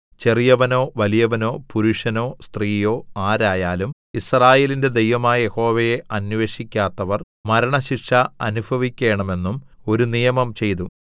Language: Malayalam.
ചെറിയവനോ വലിയവനോ പുരുഷനോ സ്ത്രീയോ ആരായാലും യിസ്രായേലിന്റെ ദൈവമായ യഹോവയെ അന്വേഷിക്കാത്തവർ മരണശിക്ഷ അനുഭവിക്കേണമെന്നും ഒരു നിയമം ചെയ്തു